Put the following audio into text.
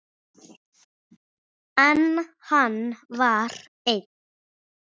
En hann var einn.